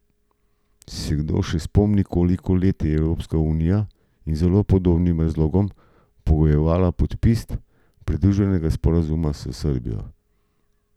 Se kdo še spomni, koliko let je Evropska unija iz zelo podobnih razlogov pogojevala podpis pridružitvenega sporazuma s Srbijo?